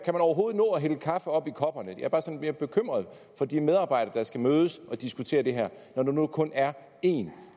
man overhovedet nå at hælde kaffe op i kopperne jeg er bare sådan lidt bekymret for de medarbejdere der skal mødes og diskutere det her når der nu kun er én